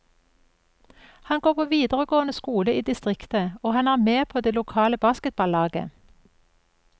Han går på videregående skole i distriktet, og han er med på det lokale basketballaget.